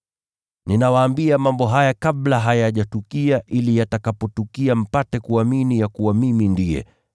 “Ninawaambia mambo haya kabla hayajatukia, ili yatakapotukia mpate kuamini ya kuwa Mimi ndiye.